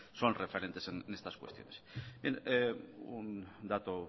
son referentes en estas cuestiones un dato